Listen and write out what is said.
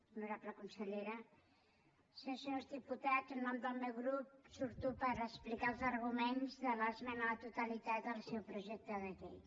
honorable consellera senyores i senyors diputats en nom del meu grup surto per explicar els arguments de l’esmena a la totalitat al seu projecte de llei